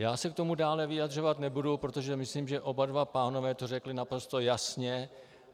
Já se k tomu dále vyjadřovat nebudu, protože myslím, že oba dva pánové to řekli naprosto jasně.